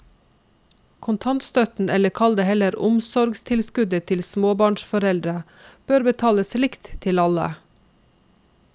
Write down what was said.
Kontantstøtten, eller kall det heller omsorgstilskuddet til småbarnsforeldrene, bør betales likt til alle.